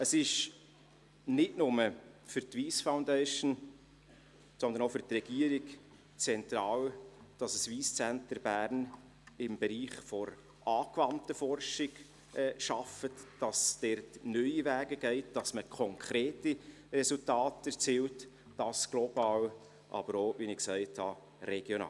Es ist nicht nur für die Wyss Foundation, sondern auch für die Regierung zentral, dass ein Wyss Centre Bern im Bereich der angewandten Forschung arbeitet, dass es dort neue Wege geht und man konkrete Resultate erzielt – dies global, aber wie gesagt auch regional.